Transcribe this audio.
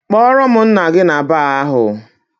Kpọrọ m nna gị na baar ahụ!